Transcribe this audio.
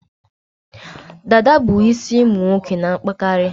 Dada bụ isi ụmụ nwoke n'akpakarị